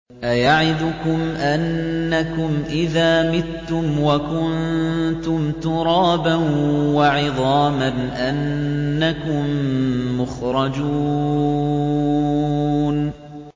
أَيَعِدُكُمْ أَنَّكُمْ إِذَا مِتُّمْ وَكُنتُمْ تُرَابًا وَعِظَامًا أَنَّكُم مُّخْرَجُونَ